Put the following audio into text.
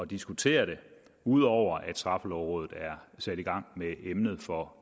diskutere det ud over at straffelovrådet er sat i gang med emnet for